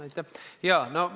Aitäh!